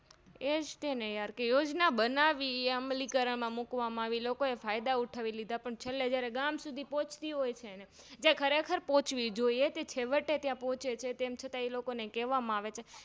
એજ્તે ને Yar કે યોજના બનાવી એમ અમલીકરણમાં મુકવા માં આવી લોકો એ ફાયદા ઉઠાવી લીધા પણ છે લે જયારે ગામ સુધી પહોચતી હોય છે ને જ્યાં ખરેખર પહોચવી જોઈએ તે છેવટેત્યાં પોહચે છે તેમ છતાં એ લોકોને કેવા માં આવે છે